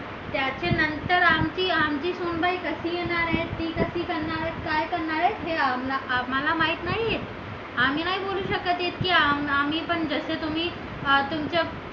त्याच्यानंतर आमची सुनबाई कशी येणार आहे ती कशी करणार आहे काय करणार आहे हे आम्हाला माहीत नाही आहे आम्ही नाही बोलू शकत की आम्ही पण जसे तुम्ही तुमच्या